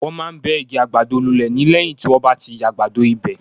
Wọ́n máa ń bẹ́ igi àgbàdo lulẹ̀ ni lẹ́yìn tí wọ́n bá ti yàgbado ibẹ̀.